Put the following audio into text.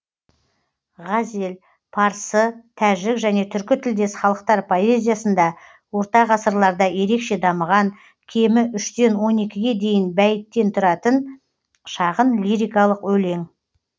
ғазел парсы тәжік және түркі тілдес халықтар поэзиясында орта ғасырларда ерекше дамыған кемі үштен он екіге дейін бәйіттен тұратын шағын лирикалық өлең